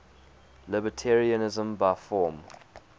libertarianism by form